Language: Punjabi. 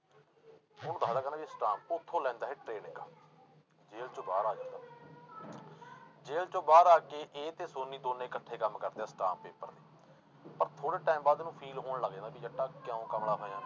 ਉਹਨੂੰ ਦੱਸਦਾ ਕਹਿੰਦਾ ਅਸਟਾਮ ਉੱਥੋਂ ਲੈਂਦਾ ਇਹ training ਜੇਲ ਚੋਂ ਬਾਹਰ ਆ ਜਾਂਦਾ ਜੇਲ ਚੋਂ ਬਾਹਰ ਆ ਕੇ ਇਹ ਤੇ ਸੋਨੀ ਦੋਨੇਂ ਇਕੱਠੇ ਕੰਮ ਕਰਦੇ ਆ ਅਸਟਾਮ ਪੇਪਰ, ਪਰ ਥੋੜ੍ਹੇ time ਬਾਅਦ ਇਹਨੂੰ feel ਹੋਣ ਲੱਗ ਜਾਂਦਾ ਵੀ ਜੱਟਾ ਕਿਉਂ ਕਮਲਾ ਹੋਇਆਂ,